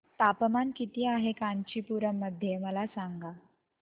तापमान किती आहे कांचीपुरम मध्ये मला सांगा